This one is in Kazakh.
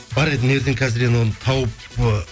бар еді мына жерден қазір оны тауып ы